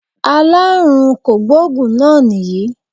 Aláàrùn kògbóògùn náà nìyí